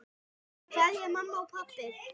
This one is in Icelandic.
Kveðja mamma og pabbi.